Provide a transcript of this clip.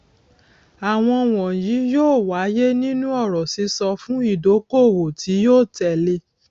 àwọn wọnyí yóò wáyé nínú ọrọ sísọ fún ìdókòwò tí yóò tẹlé